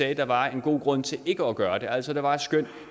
at der var en god grund til ikke at gøre det altså at der var et skøn